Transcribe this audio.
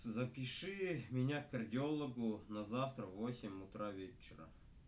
запиши меня к кардиологу на завтра в восемь утра вечера